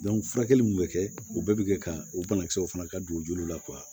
furakɛli mun bɛ kɛ o bɛɛ bɛ kɛ ka o banakisɛw fana ka dugu julu la